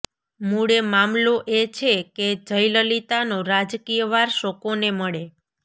મૂળે મામલો એ છે કે જયલલિતાનો રાજકીય વારસો કોને મળે